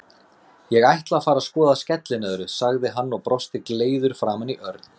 Ég ætla að fara að skoða skellinöðru, sagði hann og brosti gleiður framan í Örn.